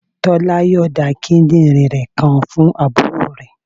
Tolu yonda kíndìnrín kan fún àbúrò rẹ.